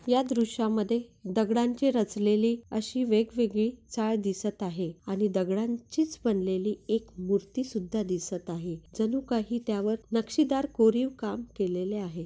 या दृश्या मध्ये दगडांचे रचलेली अशी वेगवेगळी चाळ दिसत आहे आणि दगडांचीच बनलेली एक मूर्ति सुद्धा दिसत आहे जणू काही त्यावर नक्षीदार कोरीव काम केलेले आहे.